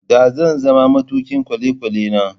da zan zama matukin kwale kwalene